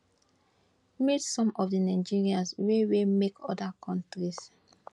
meet some of di nigerians wey wey make oda kontris